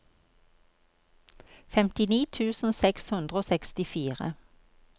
femtini tusen seks hundre og sekstifire